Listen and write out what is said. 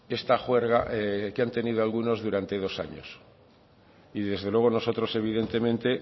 esta juerga que han tenido algunos durante dos años y desde luego nosotros evidentemente